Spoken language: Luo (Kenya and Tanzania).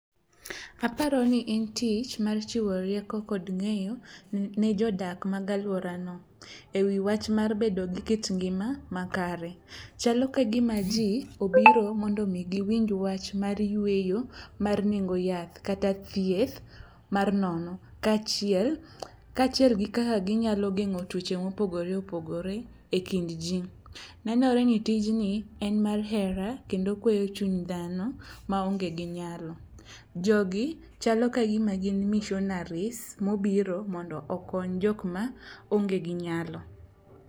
Aparo ni en tich mar chiwo rieko kod ng'eyo ne jodak mag alworano e wi wach mar bedo gi kit ngima makare. Chalo ka gima ji obiro mondo giwinj wach mar yueyo mar nengo yath kata thieth mar nono, kaachiel gi kaka ginyalo geng'o tuoche mopogore opogore e kind ji. Nenore ni tijni en mar hera kendo okweyo chuny dhano maonge gi nyalo, jogi chalo ka gima gin missionaries mobiro mondo okony jokma onge gi nyalo.